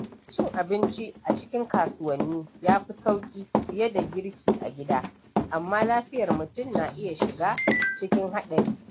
Cin abinci a cikin kasuwanni ya fi sauki fiye da girki a gida, amma lafiyar mutum na iya shiga cikin haɗari.